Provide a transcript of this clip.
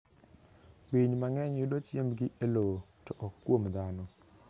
Winy mang'eny yudo chiembgi e lowo, to ok kuom dhano.